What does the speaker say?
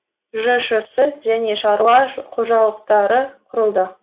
жшс және шаруа қожалықтары құрылды